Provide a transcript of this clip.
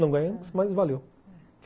Não ganhamos, mas valeu.